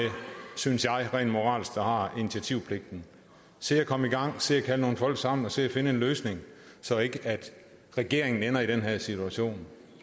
synes jeg rent moralsk har initiativpligten se at komme i gang se at kalde nogle folk sammen og se at finde en løsning så regeringen ikke ender i den her situation